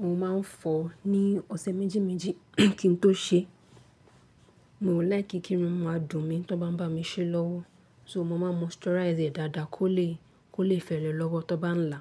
Mo ma n fọ ní ọ̀sẹ̀ méjì méjì kí n tó ṣe, mo ò láì kí kí irun mi á dùn mí tí ó bá n bá mi ṣé lówó, so mo ma n moisturize rẹ̀ dáadáa kó lè, kó lè fẹlẹ lọ́wọ́ tí ó bá n là.